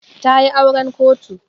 Ta yi auren kotu.